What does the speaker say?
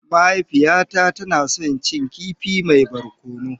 Mahaifiyata tana so ta ci kifi mai barkono.